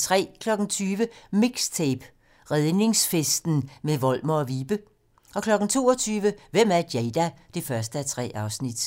20:00: MIXTAPE - Redningsfesten med Volmer & Vibe 22:00: Hvem er Jada? 1:3